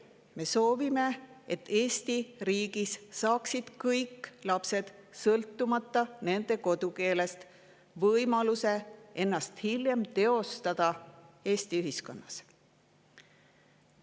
Me soovime, et Eesti riigis saaksid kõik lapsed, sõltumata nende kodukeelest, võimaluse ennast hiljem Eesti ühiskonnas teostada.